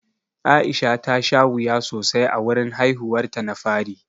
Aisha ta sha wuya sosai a wurin haihuwar ta na fari.